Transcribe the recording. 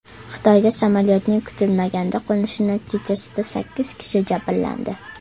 Xitoyda samolyotning kutilmaganda qo‘nishi natijasida sakkiz kishi jabrlandi.